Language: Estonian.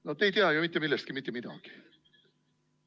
No te ei tea ju ikka mitte millestki mitte midagi.